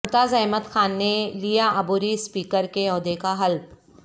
ممتاز احمد خان نے لیا عبوری اسپیکر کے عہدے کا حلف